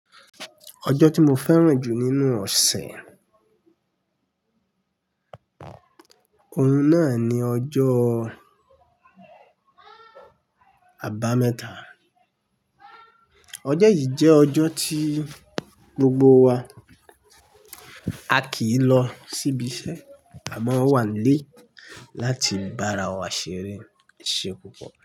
Ọjọ́ tí mo fẹ́ràn jù nínú ọ̀sẹ̀, òun náà ni ọjọ́ Àbámẹ́ta. Ọjọ́ yìí jẹ́ ọjọ́ tí gbogbo wa a kì í lọ sí ibiṣẹ́, àmọ́ wà nílé láti bára wa ṣeré. Ẹ sé pupọ?